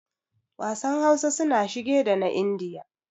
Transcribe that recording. Wasan Hausa suna shige da na Indiya.